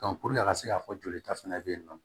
a ka se ka fɔ jolita fana bɛ yen nɔ